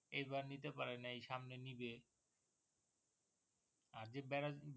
এই বার নিতে পারে নাই সামনে নিবে